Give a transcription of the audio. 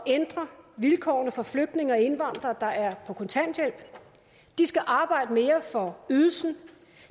ændre vilkårene for flygtninge og indvandrere der er på kontanthjælp de skal arbejde mere for ydelsen